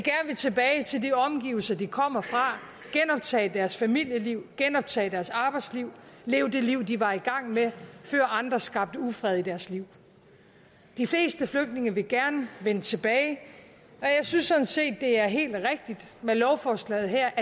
omgivelser de kommer fra genoptage deres familieliv genoptage deres arbejdsliv leve det liv de var i gang med før andre skabte ufred i deres liv de fleste flygtninge vil gerne vende tilbage og jeg synes sådan set det er helt rigtigt med lovforslaget her